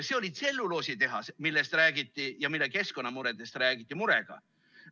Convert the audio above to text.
See oli tselluloositehas, millest räägiti ja mille keskkonnamõjudest räägiti murega.